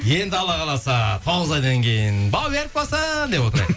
енді алла қаласа тоғыз айдан кейін бауы берік болсын деп отырайық